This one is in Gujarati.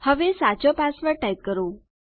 હવે સાચો પાસવર્ડ ટાઇપ કરો